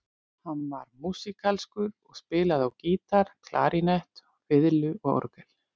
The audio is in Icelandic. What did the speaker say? Hann var músíkalskur og spilaði á gítar, klarínett, fiðlu og orgel.